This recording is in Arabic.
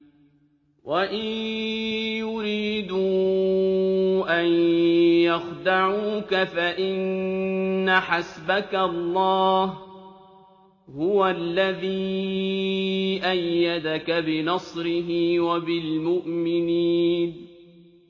وَإِن يُرِيدُوا أَن يَخْدَعُوكَ فَإِنَّ حَسْبَكَ اللَّهُ ۚ هُوَ الَّذِي أَيَّدَكَ بِنَصْرِهِ وَبِالْمُؤْمِنِينَ